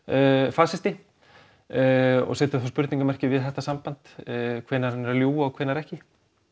fasisti og settur þá spurningarmerki við þetta samband hvenær hann er að ljúga og hvenær ekki